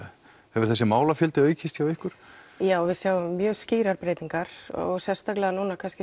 hefur þessi málafjöldi aukist hjá ykkur já við sjáum mjög skýrar breytingar og sérstaklega núna